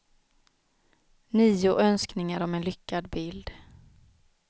Nio önskningar om en lyckad bild.